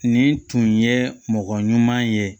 Nin tun ye mɔgɔ ɲuman ye